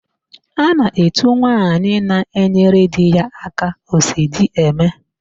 A na-etu nwaanyị na-enyere di ya aka, Osodieme.